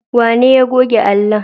Wanene ya goge allon?